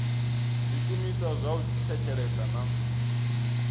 zwishumiswa zwa u thetshelesa na